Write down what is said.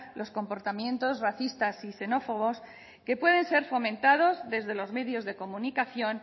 los comportamientos racistas y xenófobos que pueden ser fomentados desde los medios de comunicación